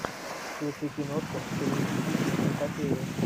включи киношку в стилистике киноэпопея